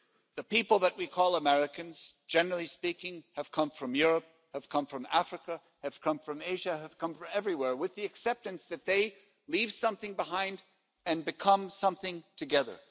The people that we call Americans, generally speaking, have come from Europe, have come from Africa, have come from Asia, have come from everywhere, with the acceptance that they leave something behind and become something together.